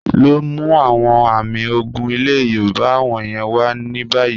Lọ mú awọn àmì ògún ilẹ̀ Yorùbá wọ̀nyẹn wà ní báyì.